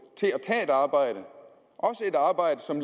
til at tage et arbejde også et arbejde som